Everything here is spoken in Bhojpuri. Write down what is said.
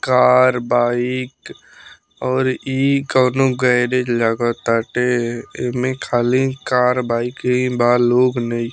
कार बाइक और ई कउनो गैरेज लागताटे एमें खाली कार बाइक ही बा लोग नइ --